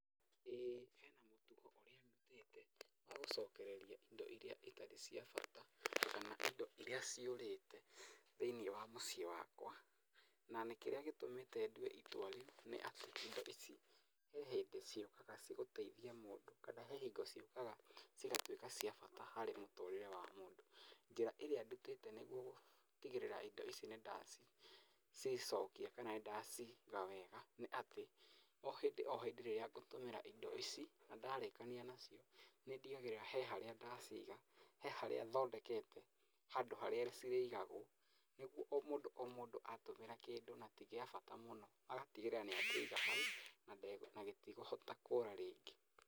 ĩ hena mũtugo ũrĩa ndutĩte wa gũcokereria indo iria citarĩ cia bata, kana indo iria ciũrĩte thĩ-inĩ wa mũciĩ wakwa, na nĩ kĩrĩa gĩtũmĩte ndue itua rĩu, nĩa atĩ indo ici, he hĩndĩ ciyũkaga ciĩgũteithia mũndũ kana he hingo ciũkaga cigatwĩka cia bata harĩ mũtũrĩre wa mũndũ, njĩra ĩrĩa ndutĩte nĩ gũtigĩrĩra indi ici nĩndacicokia kana nĩndaciga wega nĩ atĩ o hĩndĩ o hĩndĩ rĩrĩa ngũtũmĩra indo ici, na ndarĩkania nacio, nĩndigagĩrĩra he harĩa ndaciga, he harĩa thondekete, handũ harĩa cirĩigagwo, nĩguo o mũndũ o mũndũ atũmĩra kĩndũ na ti gĩa bata mũno agatigĩrĩra nĩakĩiga hau nande, na gĩtikũhota kũra rĩngĩ.